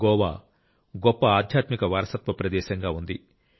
గోవా గొప్ప ఆధ్యాత్మిక వారసత్వ ప్రదేశంగా ఉంది